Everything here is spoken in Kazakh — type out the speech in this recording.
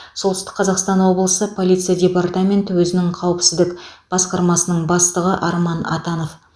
солтүстік қазақстан облысы полиция департаменті өзінің қауіпсіздік басқармасының бастығы арман атанов